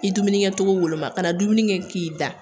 I dumunikɛcogo woloma kana dumuni kɛ k'i da